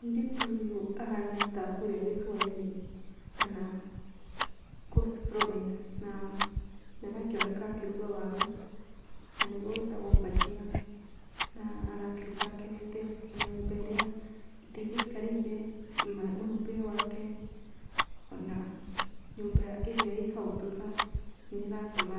Mũirĩtu ũyũ ahana ta a kũrĩa gĩcũa-inĩ kana Coast province. Na nĩ arakĩoneka akĩruga waru na nĩguo wĩtagwo bhajia na nĩ arakĩruga akenete. Ona nyũmba irĩa, ona itĩ irĩa aikarĩire na mwĩhumbĩre wake ona nyũmba ĩrĩa ĩĩ hau thutha, nĩ ĩratũma